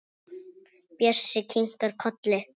Bjössi kinkar kolli.